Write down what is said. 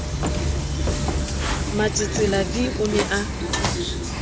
matsetsela v o ne a